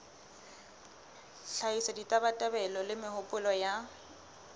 hlahisa ditabatabelo le mehopolo ya